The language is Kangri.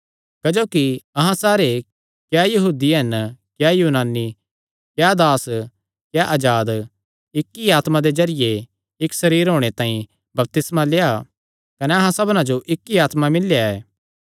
क्जोकि अहां सारे क्या यहूदी हन क्या यूनानी क्या दास क्या अजाद इक्क ई आत्मा दे जरिये इक्क सरीर होणे तांई बपतिस्मा लेआ कने अहां सबना जो इक्क ई आत्मा मिलियो ऐ